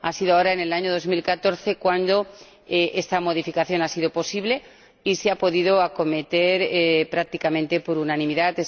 Ha sido ahora, en el año 2014, cuando esta modificación ha sido posible y se ha podido acometer prácticamente por unanimidad.